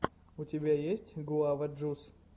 у тебя есть гуава джус